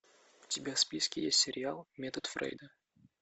у тебя в списке есть сериал метод фрейда